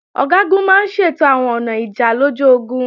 Ọ̀gágun máa ń ṣètò àwọn ọ̀nà ìjà lójú ogun